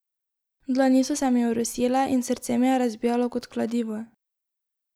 Dlani so se mi orosile in srce mi je razbijalo kot kladivo.